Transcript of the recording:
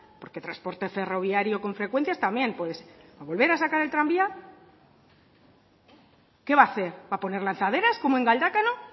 porque transporte ferroviario con frecuencias también puede ser va a volver a sacar el tranvía qué va a hacer va a poner lanzaderas como en galdacano